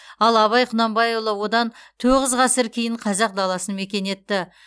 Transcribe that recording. ал абай құнанбайұлы одан тоғыз ғасыр кейін қазақ даласын мекен етті